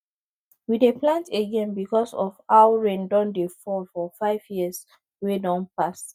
we dey plant again because of how rain don dey fall for five years wey don pass